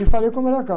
E falei com a.